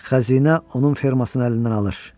Xəzinə onun fermasını əlindən alır.